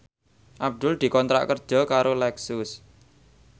Abdul dikontrak kerja karo Lexus